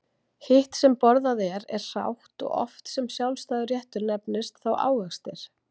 Hitt sem borðað er hrátt og oft sem sjálfstæður réttur nefnist þá ávextir.